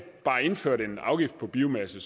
bare indførte en afgift på biomasse